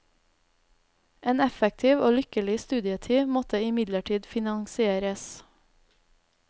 En effektiv og lykkelig studietid måtte imidlertid finansieres.